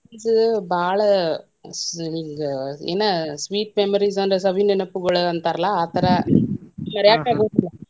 ಅಂದ್ರು friends ಬಾಳ ಹಿಂಗ ಏನ sweet memories ಅಂದ್ರ, ಸವಿ ನೆನಪುಗಳು ಅಂತಾರಲ್ಲಾ ಆತರ ಮರ್ಯಾಕ ಆಗುದಿಲ್ಲಾ.